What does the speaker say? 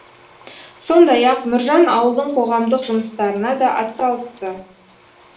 сондай ақ нұржан ауылдың қоғамдық жұмыстарына да атсалысты